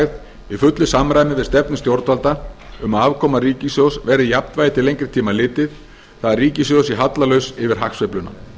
efnahagslægð í fullu samræmi við stefnu stjórnvalda um að afkoma ríkissjóðs verði í jafnvægi til lengri tíma litið það er að ríkissjóður sé hallalaus yfir hagsveifluna